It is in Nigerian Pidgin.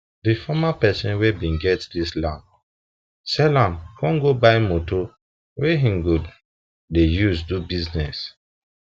dey former pesin wen bin get dis land sell am com go buy moto wen him for dey use do business